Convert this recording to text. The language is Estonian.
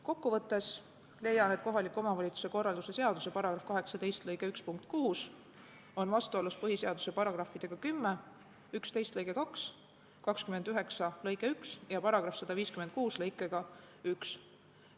Kokkuvõttes leian, et kohaliku omavalitsuse korralduse seaduse § 18 lõike 1 punkt 6 on vastuolus põhiseaduse §-ga 10, § 11 lausega 2, § 29 lõikega 1 ja § 156 lõikega 1.